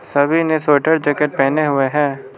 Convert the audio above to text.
सभी ने sweater jacket पहने हुए हैं।